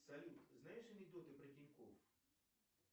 салют знаешь анекдоты про тинькофф